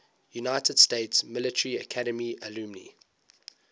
united states military academy alumni